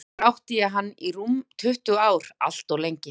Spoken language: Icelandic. Sjálfur átti ég hann í rúm tuttugu ár, allt of lengi.